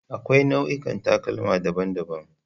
Akwai nau'ikan takalma daban-daban.